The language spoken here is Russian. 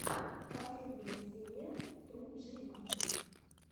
последняя серия тру джима